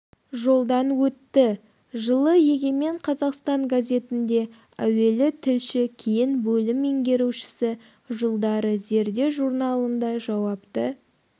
жолдан өтті жылы егемен қазақстан газетінде әуелі тілші кейін бөлім меңгерушісі жылдары зерде журналында жауапты